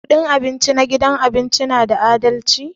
Kudin abinci na gidan abinci na da adalci?